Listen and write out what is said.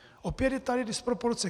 Opět je tady disproporce.